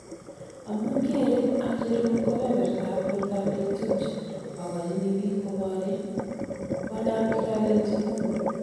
Amuun keree ...acheruu kobebertab bortab nekitupche akochini biik koboreen ,konaam kiralelchi mungu